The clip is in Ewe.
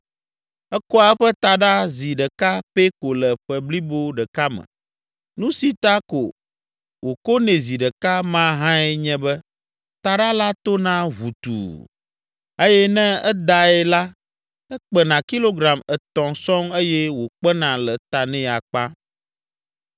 Ekoa eƒe taɖa zi ɖeka pɛ ko le ƒe blibo ɖeka me. Nu si ta ko wòkonɛ zi ɖeka ma hãe nye be taɖa la tona ʋutuu, eye ne edae la ekpena kilogram etɔ̃ sɔŋ eye wòkpena le ta nɛ akpa.